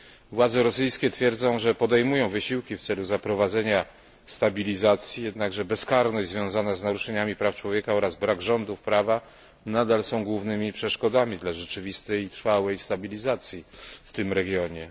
Władze rosyjskie twierdzą, że podejmują wysiłki w celu zaprowadzenia stabilizacji, jednakże bezkarność związana z naruszeniami praw człowieka oraz brak rządów prawa nadal są głównymi przeszkodami dla rzeczywistej i trwałej stabilizacji w tym regionie.